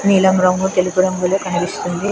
నీలం రంగు తెలుపు రంగులో కనిపిస్తుంది.